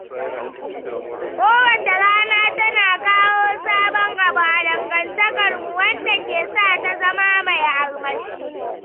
Kowace rana tana kawo sabon abu a dangantakarmu, wanda ke sa ta zama mai armashi.